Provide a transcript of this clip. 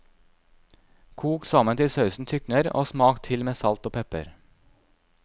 Kok sammen til sausen tykner, og smak til med salt og pepper.